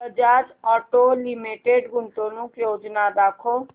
Bajaj Auto Limited गुंतवणूक योजना दाखव